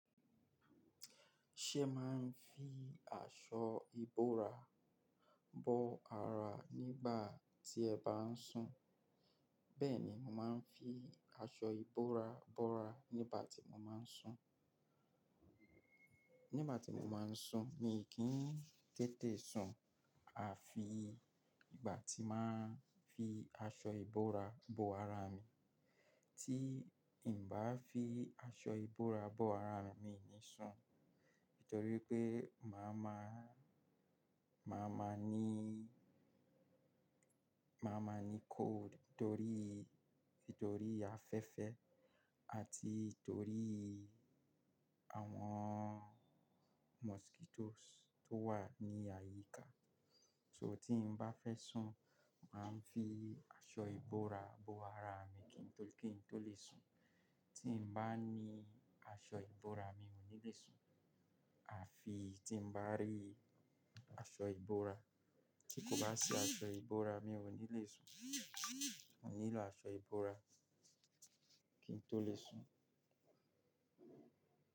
Ṣe ma ń fi aṣọ ìbora bo ara nígbà tí ẹ bá ń sùn? Bẹ́ẹ̀ ni, mo máa ń fi aṣọ ìbora bo ara nígbà tí mo máa ń sùn. Nígbà tí mo máa ń sùn, mi kì í tètè sùn afi ìgbà tí máa ń fi aṣọ ìbora bo ara mi. Tí n bá fi aṣọ ìbora bo ara mi ni sùn, nítorí pé màá ma, màá ma ní, màá ma ní cold torí, nítorí afẹ́fẹ́ àti torí àwọn mosquitoes tó wà ní àyíká. So tí n bá fẹ́ sùn, màá ń fi aṣọ ìbora bo ara mi kí n tó, kí n tó lè sùn. Tí n bá ní aṣọ ìbora mi ò ní le sùn, afi tí n bá rí aṣọ ìbora, tí kò bá sí aṣọ ìbora mi ò ní le sùn. Mo nílò aṣọ ìbora kí n tó lè sùn.